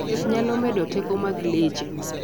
thieth nyalo medo teko mag leche